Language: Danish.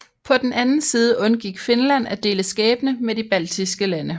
På den anden side undgik Finland at dele skæbne med de baltiske lande